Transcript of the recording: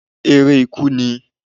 èrẹ ikú nií